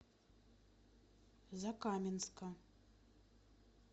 закаменска